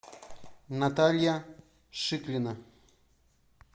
наталья шиклина